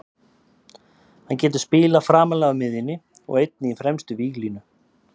Hann getur spilað framarlega á miðjunni og einnig í fremstu víglínu.